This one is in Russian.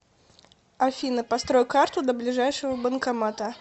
афина построй карту до ближайшего банкомата